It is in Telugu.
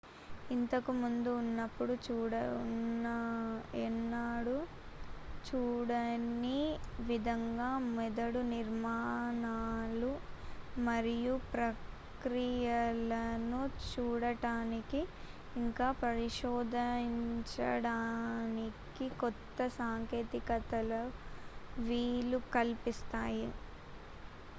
ఇంతకు ముందు ఎన్నడూ చూడని విధంగా మెదడు నిర్మాణాలు మరియు ప్రక్రియలను చూడటానికి ఇంక పరిశోధించడానికి కొత్త సాంకేతికతల వీలు కల్పిస్తాయి